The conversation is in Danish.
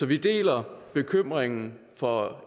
vi deler bekymringen for